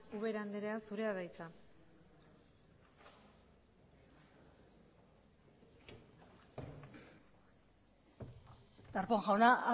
ubera andrea zurea da hitza darpón jauna